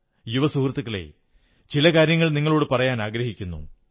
യുവ സുഹൃത്തുക്കളേ ചില കാര്യങ്ങൾ നിങ്ങളോടു പറയാനാഗ്രഹിക്കുന്നു